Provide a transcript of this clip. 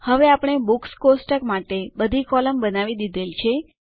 હવે આપણે બુક્સ કોષ્ટક માટે બધી કૉલમ બનાવી દીધેલ છે